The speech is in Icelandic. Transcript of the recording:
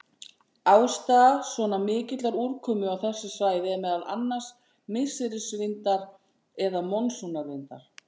Ástæða svona mikillar úrkomu á þessu svæði er meðal annars misserisvindar eða monsúnvindar.